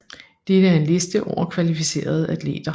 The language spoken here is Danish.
Dette er en liste over kvalificerede atleter